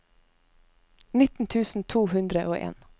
nitten tusen to hundre og en